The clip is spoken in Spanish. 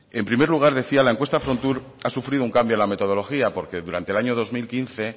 en primer lugar decía la encuesta frontur ha sufrido un cambio en la metodología porque durante el año dos mil quince